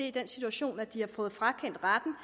i den situation at de har fået frakendt retten